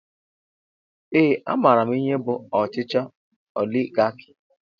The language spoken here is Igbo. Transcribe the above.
Ee a maara m ihe bụ ọchịchị oligarki